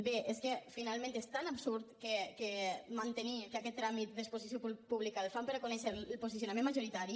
bé és que finalment és tan absurd mantenir que aquest tràmit d’exposició pública el fan per a conèixer el posicionament majoritari